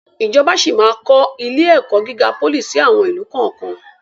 Ìjọba síí máa kọ ilé-ẹ̀kọ́ gíga pólì síí àwọn ìlú kọ̀ọ̀kan.